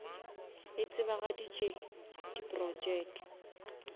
e tsebagaditše di projeke